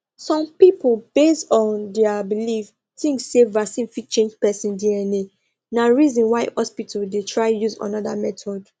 some people based um on their believe think say vaccine fit change person dna na reason why hospitals they try use another method